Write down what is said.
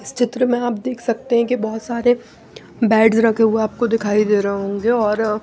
इस चित्र में आप देख सकते हैं कि बहुत सारे बेड्स रखे हुए आपको दिखाई दे रहे होंगे और--